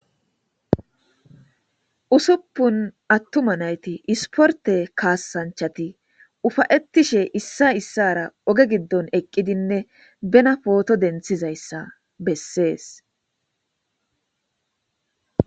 Usupun attuma nayti isporte kaassanchati ufa'etashe issay isara oge giddon eqqidinne bena poto denththizayssa besees.